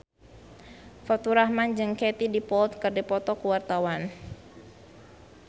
Faturrahman jeung Katie Dippold keur dipoto ku wartawan